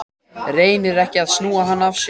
Reynir ekki að snúa hann af sér.